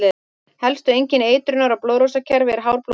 Helsta einkenni eitrunar á blóðrásarkerfið er hár blóðþrýstingur.